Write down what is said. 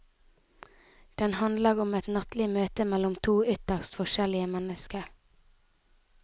Den handler om et nattlig møte mellom to ytterst forskjellige mennesker.